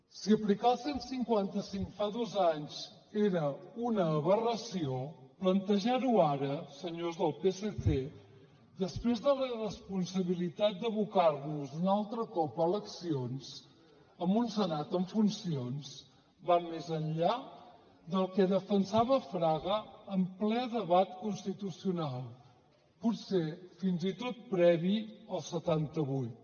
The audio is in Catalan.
si aplicar el cent i cinquanta cinc fa dos anys era una aberració plantejar ho ara senyors del psc després de la irresponsabilitat d’abocar nos un altre cop a eleccions amb un senat en funcions va més enllà del que defensava fraga en ple debat constitucional potser fins i tot previ al setanta vuit